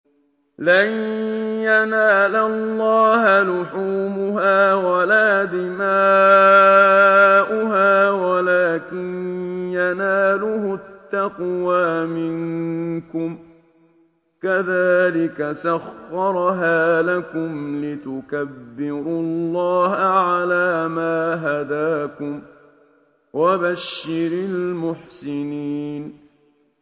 لَن يَنَالَ اللَّهَ لُحُومُهَا وَلَا دِمَاؤُهَا وَلَٰكِن يَنَالُهُ التَّقْوَىٰ مِنكُمْ ۚ كَذَٰلِكَ سَخَّرَهَا لَكُمْ لِتُكَبِّرُوا اللَّهَ عَلَىٰ مَا هَدَاكُمْ ۗ وَبَشِّرِ الْمُحْسِنِينَ